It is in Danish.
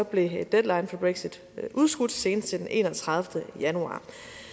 blev deadline for brexit udskudt senest til den enogtredivete januar